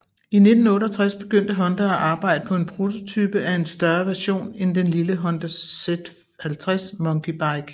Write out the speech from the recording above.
I 1968 begyndte Honda at arbejde på en prototype af en større version end den lille Honda Z50 Monkey Bike